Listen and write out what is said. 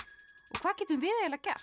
hvað getum við gert